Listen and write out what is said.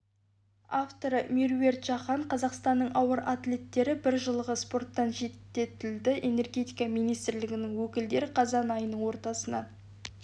авторы меруерт жақан қазақстанның ауыр атлеттері бір жылға спорттан шеттетілді энергетика министрлігінің өкілдері қазан айының ортасынан